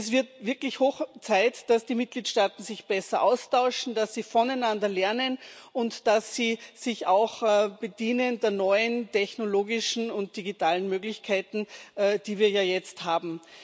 Es wird wirklich Zeit, dass die Mitgliedstaaten sich besser austauschen, dass sie voneinander lernen und dass sie sich auch der neuen technologischen und digitalen Möglichkeiten bedienen, die wir ja jetzt haben.